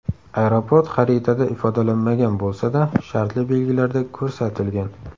Aeroport xaritada ifodalanmagan bo‘lsa-da, shartli belgilarda ko‘rsatilgan.